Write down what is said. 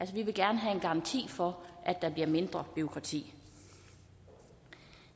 vi vil gerne have en garanti for at der bliver mindre bureaukrati